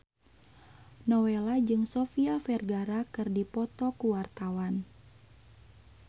Nowela jeung Sofia Vergara keur dipoto ku wartawan